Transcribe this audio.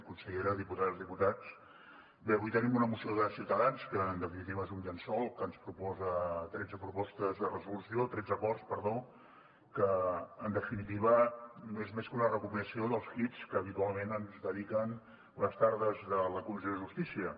consellera diputades i diputats bé avui tenim una moció de ciutadans que en definitiva és un llençol que ens proposa tretze acords que en definitiva no és més que una recopilació dels hits que habitualment ens dediquen les tardes de la comissió de justícia